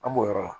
An b'o yɔrɔ la